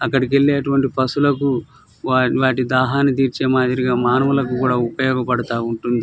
అక్కడికి వెళ్ళే పసుహువాళ్ళకి వాటి దాని తెరచే మాదిరిగా మనవలలకి కూడా ఉపయోగ పడుతుంది.